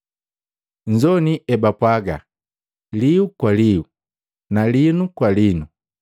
“Nzoini ebapwaaga, ‘Lihu kwa lihu na linu kwa linu.’